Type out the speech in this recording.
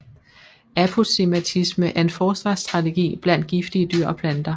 Aposematisme er en forsvarsstrategi blandt giftige dyr og planter